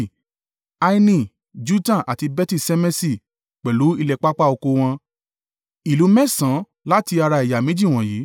Aini, Jutta àti Beti-Ṣemeṣi, pẹ̀lú ilẹ̀ pápá oko wọn. Ìlú mẹ́sàn-án láti ara ẹ̀yà méjì wọ̀nyí.